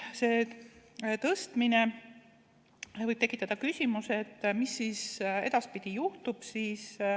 See tõstmine võib tekitada küsimuse, mis siis edaspidi juhtub.